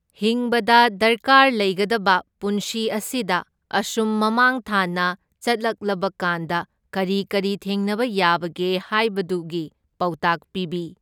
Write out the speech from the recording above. ꯍꯤꯡꯕꯗ ꯗꯔꯀꯥꯔ ꯂꯩꯒꯗꯕ ꯄꯨꯟꯁꯤ ꯑꯁꯤꯗ ꯑꯁꯨꯝ ꯃꯃꯥꯡ ꯊꯥꯅ ꯆꯠꯂꯛꯂꯕꯀꯥꯟꯗ ꯀꯔꯤ ꯀꯔꯤ ꯊꯦꯡꯅꯕ ꯌꯥꯕꯒꯦ ꯍꯥꯏꯕꯗꯨꯒꯤ ꯄꯥꯎꯇꯥꯛ ꯄꯤꯕꯤ꯫